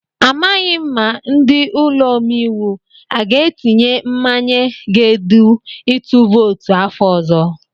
Amaghị m ma ndị ụlọ omeiwu aga etinye mmanye ga-edu itu vootu afọ ọzọ.